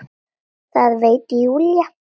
Það veit Júlía.